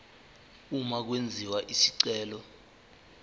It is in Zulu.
uma kwenziwa isicelo